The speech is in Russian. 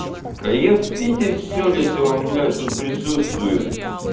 кайф видеть все лицо он блять тут присутствует